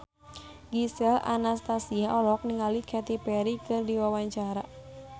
Gisel Anastasia olohok ningali Katy Perry keur diwawancara